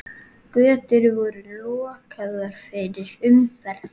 Götur voru lokaðar fyrir umferð.